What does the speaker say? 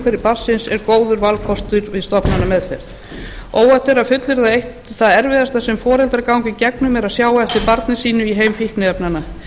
umhverfi barnsins er góður valkostur við stofnanameðferð óhætt er að fullyrða að eitt það erfiðasta sem foreldrar ganga í gegnum er að sjá á eftir barni sínu í heim fíkniefnanna